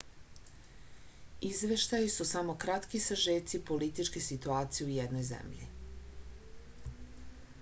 izveštaji su samo kratki sažeci političke situacije u jednoj zemlji